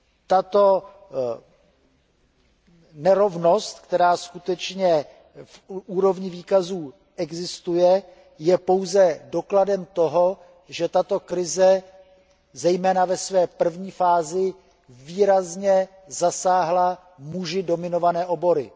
Tato nerovnost, která skutečně v úrovni výkazů existuje, je pouze dokladem toho, že tato krize, zejména ve své první fázi, výrazně zasáhla muži dominované obory.